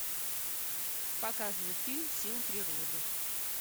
показывай фильм сила природы